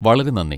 വളരെ നന്ദി.